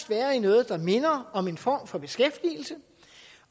være i noget der minder om en form for beskæftigelse